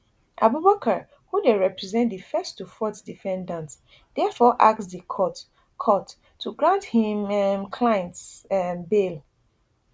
abubakar who dey represent di first to fourth defendant diafore ask di court court to grant im um clients um bail